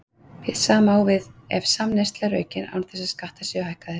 Hið sama á við ef samneysla er aukin án þess að skattar séu hækkaðir.